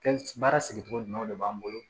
Kɛli baara sigicogo ɲuman de b'an bolo